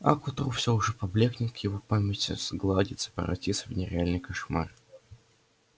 а к утру все уже поблёкнет в его памяти сгладится превратится в нереальный кошмар